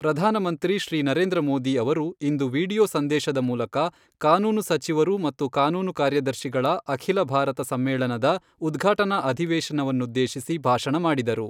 ಪ್ರಧಾನಮಂತ್ರಿ ಶ್ರೀ ನರೇಂದ್ರ ಮೋದಿ ಅವರು ಇಂದು ವಿಡಿಯೋ ಸಂದೇಶದ ಮೂಲಕ ಕಾನೂನು ಸಚಿವರು ಮತ್ತು ಕಾನೂನು ಕಾರ್ಯದರ್ಶಿಗಳ ಅಖಿಲ ಭಾರತ ಸಮ್ಮೇಳನದ ಉದ್ಘಾಟನಾ ಅಧಿವೇಶನವನ್ನುದ್ದೇಶಿಸಿ ಭಾಷಣ ಮಾಡಿದರು.